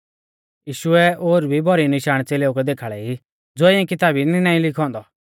यीशुऐ ओर भी भौरी निशाण च़ेलेऊ कै देखाल़ै ई ज़ो इऐं किताबी दी नाईं लिखौ औन्दौ